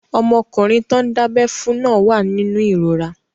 Ọmọkùnrin tán dábẹ́ fún náà wà nínú ìrora